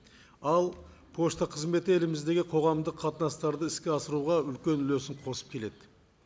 ал пошта қызметі еліміздегі қоғамдық қатынастарды іске асыруға үлкен үлесін қосып келеді